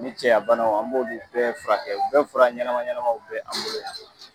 O ni cɛya bana an b'u bɛɛ furakɛ, u bɛɛ fura ɲɛnama ɲɛnamaw bɛ an bolo yan.